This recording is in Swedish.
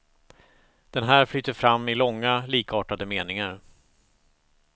Den här flyter fram i långa, likartade meningar.